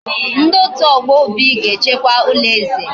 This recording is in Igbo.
Ndi otu ogbo Obi ga echekwa ulo eze